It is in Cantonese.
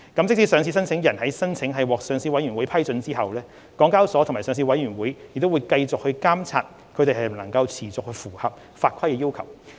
即使上市申請人的申請獲上市委員會批准後，港交所及上市委員會仍會繼續監察它們能否持續符合法規的要求。